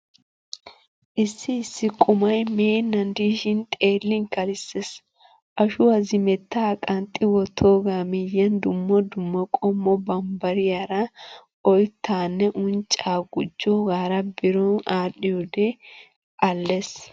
Issi issi qumay meennan diishin xeellin kalissees. Ashuwaa zimettaa qanxxi wottooga miyiyan dumma dumma qommo bambbariyaara oyttaanne unccaa gujjogaara biro aadhdhiyoodee alees.